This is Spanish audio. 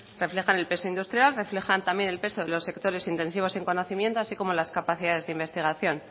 reflejan el peso industrial reflejan también el peso de los sectores intensivos en conocimiento así como las capacidades de investigación